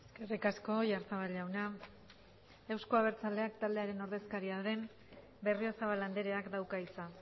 eskerrik asko oyarzabal jauna euzko abertzaleak taldearen ordezkaria den berriozabal andreak dauka hitza